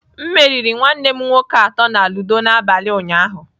M meriri nwanne m nwoke atọ na ludo n'abalị ụnyaahụ.